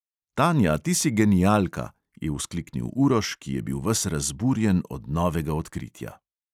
"Tanja, ti si genialka!" je vzkliknil uroš, ki je bil ves razburjen od novega odkritja.